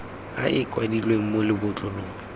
a a kwadilweng mo lebotlolong